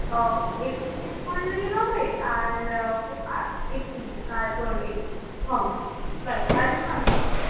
আহ experience বললেই হবে আর experience আর তোর ইয়ে hobbies ব্যাস আর কিছু নয় তো?